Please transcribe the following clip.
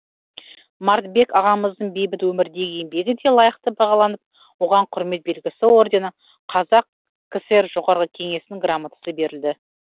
мартбек ағамыздың бейбіт өмірдегі еңбегі де лайықты бағаланып оған кұрмет белгісі ордені қазақ кср жоғарғы кеңесінің грамотасы берілді